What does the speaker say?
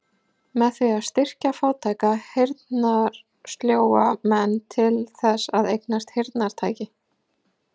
Með því að styrkja fátæka, heyrnarsljóa menn til þess að eignast heyrnartæki.